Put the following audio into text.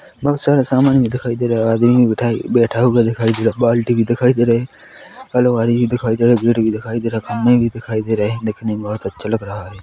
बहुत सारा समान भी दिखाई दे रहे हैं आदमी भी बैठा हुआ दिखाई दे रहा है बाल्टी भी दिखाई दे रही है अलमारी भी दिखाई दे रहा है गेट भी दिखाई दे रहा है खंबे भी दिखाई दे रहे हैं देखने में बहुत अच्छा लग रहा है।